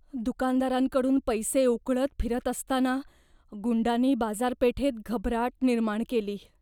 दुकानदारांकडून पैसे उकळत फिरत असताना गुंडांनी बाजारपेठेत घबराट निर्माण केली.